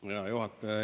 Hea juhataja!